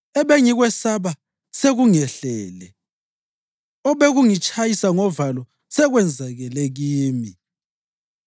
Ebengikwesaba sekungehlele, obekungitshayisa ngovalo sekwenzakele kimi.